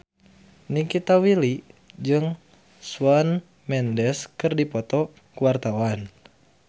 Nikita Willy jeung Shawn Mendes keur dipoto ku wartawan